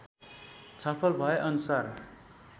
छलफल भए अनुसार